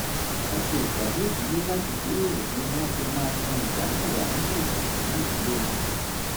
wọ́n ṣe ìpàdé ìdílé láti jíròrò bí wọ́n á ṣe máa san ìdá mẹ́wàá nínú ètò ìsúnná ìdílé wọn